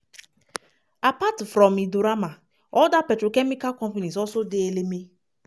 apart from indorama oda petrochemical companies also dey eleme.